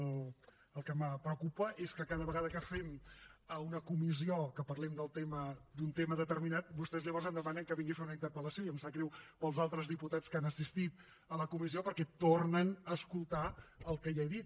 el que me preocupa és que cada vegada que fem una comissió que parlem d’un tema determinat vostès llavors em demanen que vingui a fer una interpel·lació i em sap greu pels altres diputats que han assistit a la comissió perquè tornen a escoltar el que ja he dit